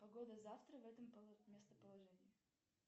погода завтра в этом местоположении